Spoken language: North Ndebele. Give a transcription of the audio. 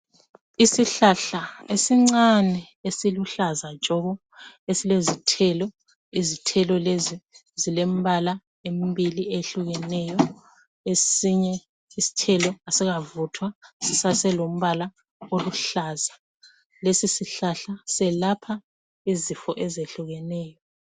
Isihlahla esincane, esiluhlaza tshoko! Esilezithelo. Izithelo lezi zilembala emibili, ehlukeneyo. Esinye isithelo kasikavuthwa. Sisaselombala oluhlaza. Lesisihlahla selapha izifo ezehlukeneyo.